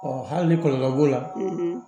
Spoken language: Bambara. hali ni kɔlɔlɔ b'o la